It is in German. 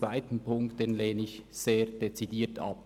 Ziffer 2 lehne ich sehr dezidiert ab.